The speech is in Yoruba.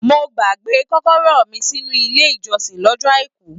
Mo gbàgbé kọ́kọ́rọ́ mí sínú ilé ìjọsìn lọ́jọ́ àìkú.